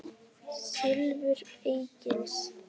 Silfur Egils